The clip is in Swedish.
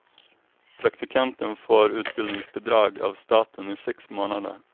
Praktikanten får utbildningsbidrag av staten i sex månader.